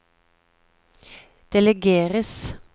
delegeres